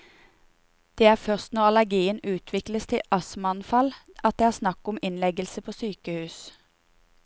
Det er først når allergien utvikles til astmaanfall at det er snakk om innleggelse på sykehus.